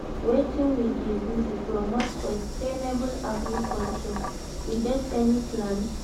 wetin we dey do to promote sustainable agriculture, we get any plans?